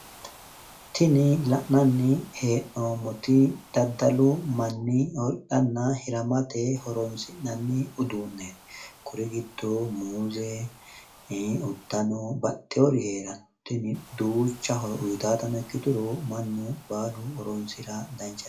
Tinni la'nanni hee'noommoti daddalu manni hidhanna hiramate horoonsi'nanni uduuneeti kuri giddo muuze, uddanonna baxxwoori heerano tini duucha horo uyiitaatano ikkituro mannu baalu horoonsira danchate.